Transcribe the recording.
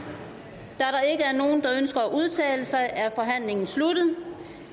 nogen der ønsker at udtale sig er forhandlingen sluttet